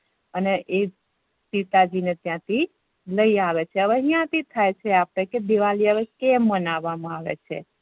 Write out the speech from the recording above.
અને એ સીતાજી ને ત્યાંથી લઇ આવે છે અવે અહિયા થી થાય છે આપણે હવે દિવાળી કેમ મેનાવા મા આવે છે